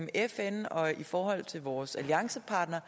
fn og i forhold til vores alliancepartnere